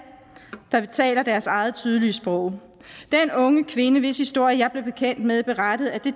der taler deres eget tydelige sprog den unge kvinde hvis historie jeg blev bekendt med berettede at det